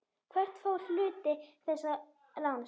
Hvert fór hluti þessa láns?